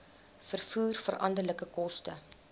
vervoer veranderlike koste